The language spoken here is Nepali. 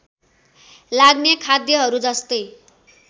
लाग्ने खाद्यहरू जस्तै